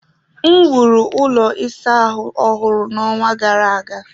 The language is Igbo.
M wuru ụlọ ịsa ahụ ọhụrụ n'ọnwa gara aga.